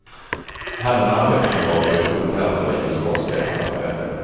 Han och en arbetskamrat var i full färd med att riva skorstenar, när det hände.